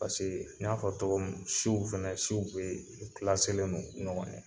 Paseke n y'a fɔ cɔgɔ min siw fɛnɛ, siw bɛɛ no ɲɔgɔn ɲɛ.